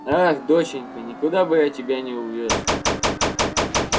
ах доченька никуда бы я тебя не увёз